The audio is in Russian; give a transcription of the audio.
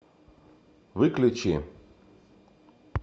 выключи